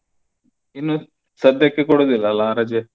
ಇನ್ನೂ ಸದ್ಯಕ್ಕೆ ಕೊಡುದಿಲ್ಲ ಅಲ್ಲ ರಜೆ.